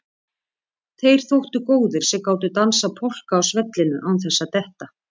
Þeir þóttu góðir sem gátu dansað polka á svellinu án þess að detta.